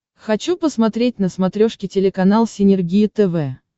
хочу посмотреть на смотрешке телеканал синергия тв